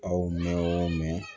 Aw mɛn o mɛn